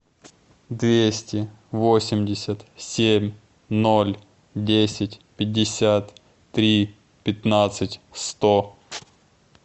двести восемьдесят семь ноль десять пятьдесят три пятнадцать сто